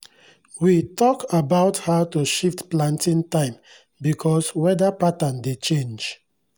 we tok about how to shift planting time bkos weda pattern dey change